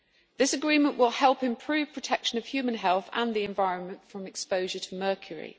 This agreement will help improve protection of human health and the environment from exposure to mercury.